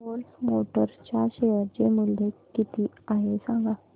force Motors च्या share चे मूल्य किती आहे सांगा